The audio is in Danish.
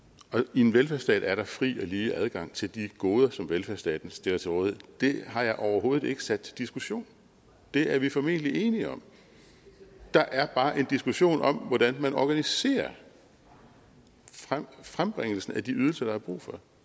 i en velfærdsstat er der fri og lige adgang til de goder som velfærdsstaten stiller til rådighed det har jeg overhovedet ikke sat til diskussion det er vi formentlig enige om der er bare en diskussion om hvordan man organiserer frembringelsen at de ydelser der er brug for